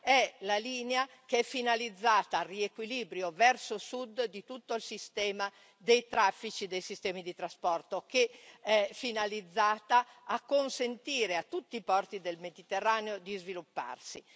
è la linea finalizzata al riequilibrio verso sud di tutto il sistema dei traffici dei sistemi di trasporto, che è intesa a consentire a tutti i porti del Mediterraneo di svilupparsi.